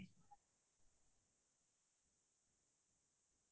তুমি কৰোবাত গৈছা নে ফুৰিবলে